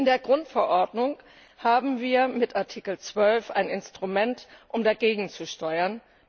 In der Grundverordnung haben wir mit Artikel 12 ein Instrument, um gegenzusteuern.